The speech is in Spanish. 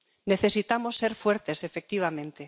Necesitamos ser fuertes, efectivamente.